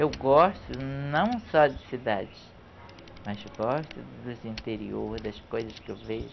Eu gosto não só de cidades, mas gosto dos interior, das coisas que eu vejo.